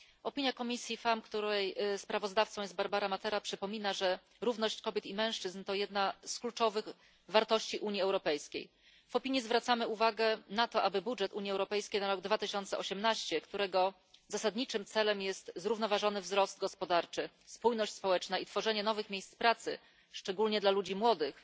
Opinia komisji FEMM, której sprawozdawcą jest Barbara Matera, przypomina, że równość kobiet i mężczyzn to jedna z kluczowych wartości Unii Europejskiej. W opinii zwracamy uwagę na to, aby budżet Unii Europejskiej na rok 2018, którego zasadniczym celem jest zrównoważony wzrost gospodarczy, spójność społeczna i tworzenie nowych miejsc pracy, szczególnie dla ludzi młodych,